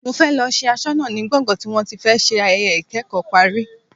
Mo fẹ́ lọ ṣe aṣọnà ní gbọ̀ngán tí wọ́n ti fẹ́ ṣe ayẹyẹ ikẹ́kọ̀ọ́ parí.